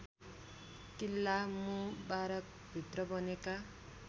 किल्ला मुबारकभित्र बनेका